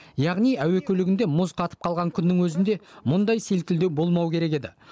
яғни әуе көлігінде мұз қатып қалған күннің өзінде мұндай селкілдеу болмау керек еді